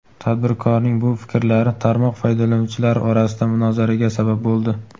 Tadbirkorning bu fikrlari tarmoq foydalanuvchilari orasida munozaraga sabab bo‘ldi.